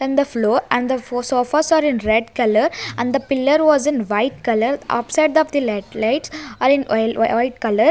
and the floor and the sofas are in red colour and the pillar was in white colour upside of the light lights are in white colour.